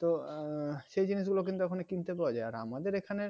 তো সেই জিনিসগুলো কিন্তু ওখানে কিনতে পাওয়া যায় আর আমাদের এখানে